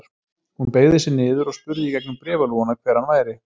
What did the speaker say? Hún beygði sig niður og spurði í gegnum bréfalúguna hver hann væri.